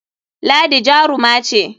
Ladi jaruma ce.